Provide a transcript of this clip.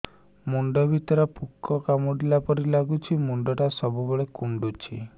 ମୁଣ୍ଡ ଭିତରେ ପୁକ କାମୁଡ଼ିଲା ପରି ଲାଗୁଛି ମୁଣ୍ଡ ଟା ସବୁବେଳେ କୁଣ୍ଡୁଚି